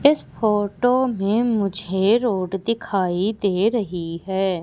इस फोटो में मुझे रोड दिखाई दे रही है।